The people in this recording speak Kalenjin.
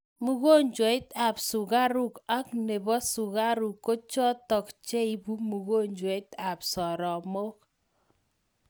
Mugonjweat sukaruk ak nebo sugaruk kochotok cheibu mugonjweab soromoik